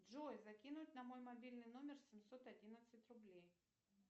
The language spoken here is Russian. джой закинуть на мой мобильный номер семьсот одиннадцать рублей